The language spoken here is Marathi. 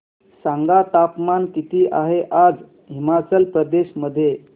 सांगा तापमान किती आहे आज हिमाचल प्रदेश मध्ये